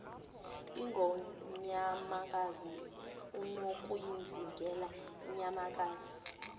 ingonyamakazi unokuyizingelela inyamakazi